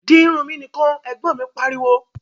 Di irun mi nìkan! Ẹ̀gbọ́n mi pariwo